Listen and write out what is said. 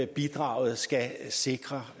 bidraget skal sikre